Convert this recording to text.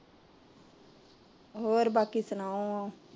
ਹੋਰ ਬਾਕੀ ਸੁਣਾਓ